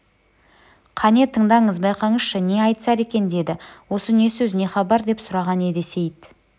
қане тыңдаңыз байқаңызшы не айтысар екен деді осы не сөз не хабар деп сұраған еді сейіт